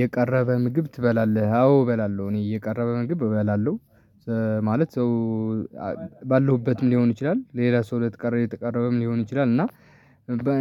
የቀረበ ምግብ ትበላለህ? አዎ እበላለሁ እኔ የቀረበ ምግብ እበላለሁ። ማለት ሰው ባለሁበትም ሊሆን ይችላል። ለሌላ ሰው ለተቀረበ የተቀረበም ሊሆን ይችላል። እና